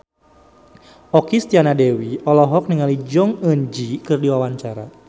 Okky Setiana Dewi olohok ningali Jong Eun Ji keur diwawancara